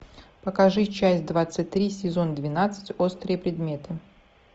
покажи часть двадцать три сезон двенадцать острые предметы